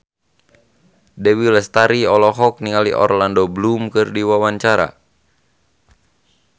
Dewi Lestari olohok ningali Orlando Bloom keur diwawancara